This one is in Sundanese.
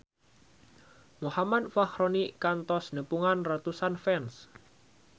Muhammad Fachroni kantos nepungan ratusan fans